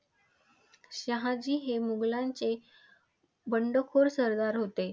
शहाजी हे मुघलांचे बंडखोर सरदार होते.